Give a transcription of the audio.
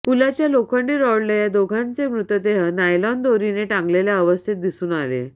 पुलाच्या लोखंडी रॉडला या दोघांचे मृतदेह नायलॉन दोरीने टांगलेल्या अवस्थेत दिसून आले